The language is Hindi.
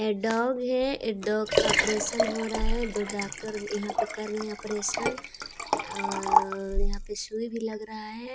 एक डॉग है ए डॉग का ओप्प्रेशन हो रहा है दो डॉक्टर यहाँ पे कर रहे है ओप्प्रेशन और अ यहाँ पे सुई भी लग रहा है।